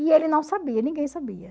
E ele não sabia, ninguém sabia.